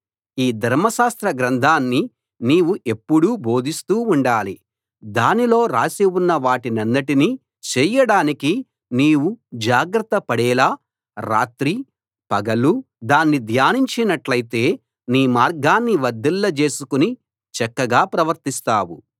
ఈ ధర్మశాస్త్ర గ్రంథాన్ని నీవు ఎప్పుడూ బోధిస్తూ ఉండాలి దానిలో రాసి ఉన్న వాటన్నిటినీ చేయడానికి నీవు జాగ్రత్త పడేలా రాత్రీ పగలూ దాన్ని ధ్యానించినట్లయితే నీ మార్గాన్ని వర్ధిల్లజేసుకుని చక్కగా ప్రవర్తిస్తావు